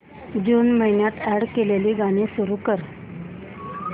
जून महिन्यात अॅड केलेली गाणी सुरू कर